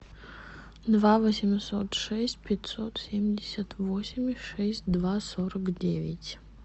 два восемьсот шесть пятьсот семьдесят восемь шесть два сорок девять